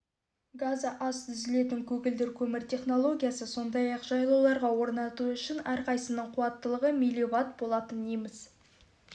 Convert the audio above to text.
газы аз түзілетін көгілдір көмір технологиясы сондай-ақ жайлауларға орнату үшін әрқайсысының қуаттылығы мвт болатын неміс